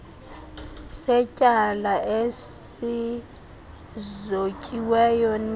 setyala esizotyiweyo nika